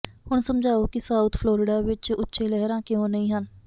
ਹੁਣ ਸਮਝਾਓ ਕਿ ਸਾਊਥ ਫਲੋਰਿਡਾ ਵਿੱਚ ਉੱਚੇ ਲਹਿਰਾਂ ਕਿਉਂ ਨਹੀਂ ਹਨ